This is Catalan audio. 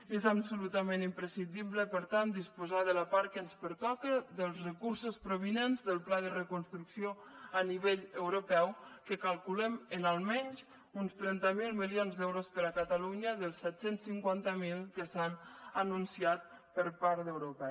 i és absolutament imprescindible per tant disposar de la part que ens pertoca dels recursos provinents del pla de reconstrucció a nivell europeu que calculem en almenys uns trenta miler milions d’euros per a catalunya dels set cents i cinquanta miler que s’han anunciat per part d’europa